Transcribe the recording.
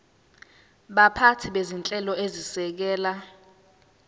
baphathi bezinhlelo ezisekela